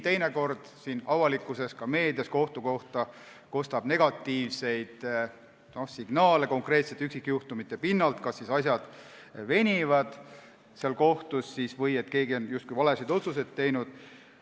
Teinekord kostab avalikkuses, ka meedias, kohtu kohta negatiivseid signaale konkreetsete üksikjuhtumite pinnalt, kas siis asjad venivad kohtus või keegi on justkui valesid otsuseid teinud.